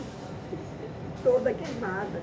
E eu fiquei toda queimada.